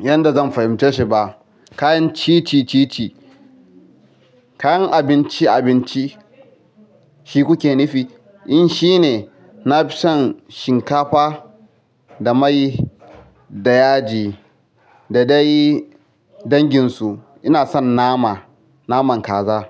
yadda zan fahimce shi ba. Kayan cici, cici. Kayan abinci, abinci shi kuke nufi? In shine, na fi son shinkafa da mai da yaji da dai danginsu. Ina son nama, naman kaza.